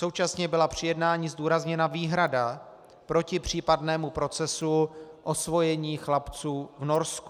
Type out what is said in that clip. Současně byla při jednání zdůrazněna výhrada proti případnému procesu osvojení chlapců v Norsku.